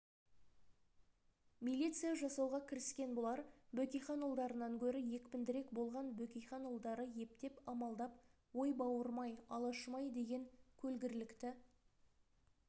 милиция жасауға кіріскен бұлар бөкейханұлдарынан гөрі екпіндірек болған бөкейханұлдары ептеп амалдап ой бауырым-ай алашым-ай деген көлгірлікті